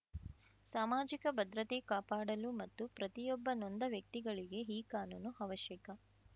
ಸಮಾಜಿಕ ಭದ್ರತೆ ಕಾಪಾಡಲು ಮತ್ತು ಪ್ರತಿಯೊಬ್ಬ ನೊಂದ ವ್ಯಕ್ತಿಗಳಿಗೆ ಈ ಕಾನೂನು ಅವಶ್ಯಕ